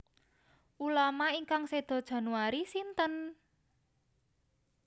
Ulama ingkang sedo Januari sinten?